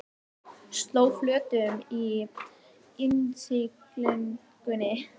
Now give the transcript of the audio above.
Sló flötum í innsiglingunni